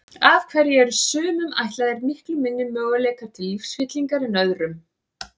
Af hverju eru sumum ætlaðir miklu minni möguleikar til lífsfyllingar en öðrum?